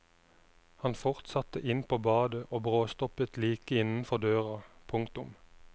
Han fortsatte inn på badet og bråstoppet like innenfor døra. punktum